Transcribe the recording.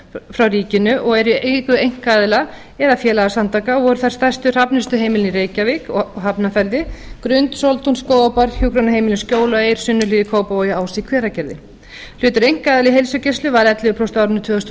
frá ríkinu og eru í eigu einkaaðila eða félagasamtaka og eru þau stærstu hrafnistuheimilin í reykjavík og hafnarfirði grund sóltún skógarbær hjúkrunarheimilin skjól og eir sunnuhlíð í kópavogi og ás í hveragerði hlutur einkaaðila í heilsugæslu var ellefu prósent á árinu tvö þúsund og